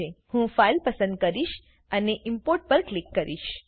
ઇહું file પસંદ કરીશ અને Importપર ક્લિક કરીશ